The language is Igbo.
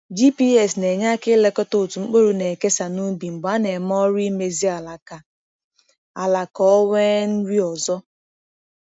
GPS na-enye aka ilekọta otú mkpụrụ na-ekesa n’ubi mgbe a na-eme ọrụ imezi ala ka ala ka o nwee nri ọzọ.